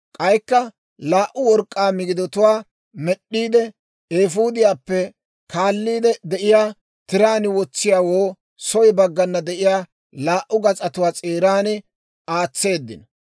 K'aykka laa"u work'k'aa migidatuwaa med'd'iide, eefuudiyaappe kaaliide de'iyaa tiraan wotsiyaawoo soy baggana de'iyaa laa"u gas'atuwaa s'eeran aatseeddino.